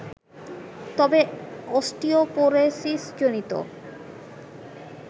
তবে অস্টিওপোরোসিসজনিত